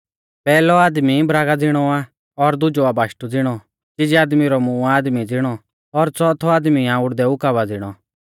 पैहलौ आदमी बरागा ज़िणौ आ और दुजौ आ बाशटु ज़िणौ चिजै आदमी रौ मूंह आ आदमी ज़िणौ और च़ौथौ आदमी आ उड़दै उकाबा ज़िणौ